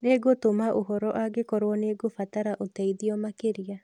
Nĩngũtũma ũhoro angĩkorwo nĩ ngũbatara ũteithio makĩria.